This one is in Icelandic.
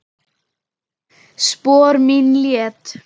Spor mín létt.